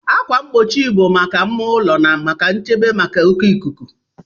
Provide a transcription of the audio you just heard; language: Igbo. Ákwà mgbochi bụ maka mma ulo na maka nchebe maka oke ikuku.